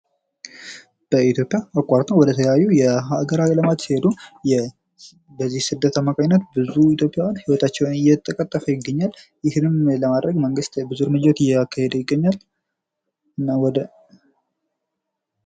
በኢትዮጵያ አቋርጠው ወደ የተለያዩ ሀገራዊ ልማት የሔዱ በዚህ ስደት አማካኝነት ብዙ ኢትዮጵያዊያን ህይወታቸውን እየተቀጠፉ ይገኛል። ይህንም ለማድረግ መንግስት ብዙ እርምጃዎች እያደረገ ይገኛል። እና ወደ